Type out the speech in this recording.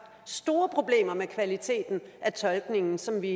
store problemer med kvaliteten af tolkningen som vi